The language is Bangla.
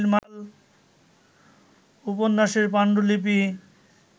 উপন্যাসের পাণ্ডুলিপি